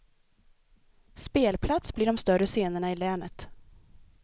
Spelplats blir de större scenerna i länet.